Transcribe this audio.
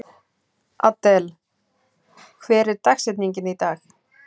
Adel, hver er dagsetningin í dag?